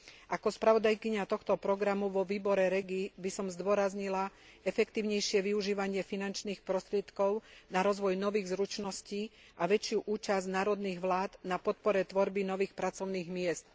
Ako spravodajkyňa tohto programu vo výbore REGI by som zdôraznila efektívnejšie využívanie finančných prostriedkov na rozvoj nových zručností a väčšiu účasť národných vlád na podpore tvorby nových pracovných miest.